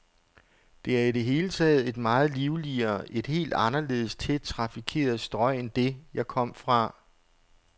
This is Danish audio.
Det er i det hele taget et meget livligere, et helt anderledes tæt trafikeret strøg end det, jeg kom fra.